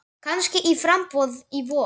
Kannski í framboð í vor.